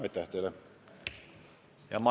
Aitäh teile!